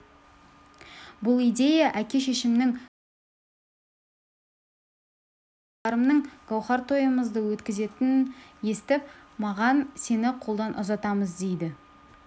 бұл идея әке-шешемнің көзін көрген екі жеңгем бар болатын балаларымның гауһар тойымызды өткізетінін естіп маған сені қолдан ұзатамыз дейді